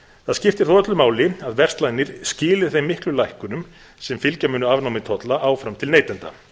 það skiptir því öllu máli að verslanir skili þeim miklu lækkunum sem fylgja munu afnámi tolla áfram til neytenda